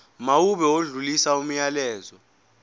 mawube odlulisa umyalezo